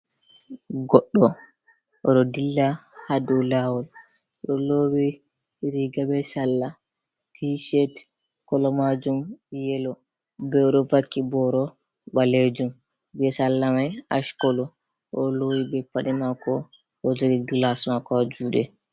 Goddo oɗo dilla ha dou lawol, o ɗo lowi riga be sala tishet kolo majum yelo, be o ɗo vaki boro ɓalejum be sala mai ash kolo, o lowi be paɗe mako, o ɗo jogi glas mako ha juɗe.